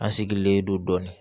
An sigilen don dɔɔnin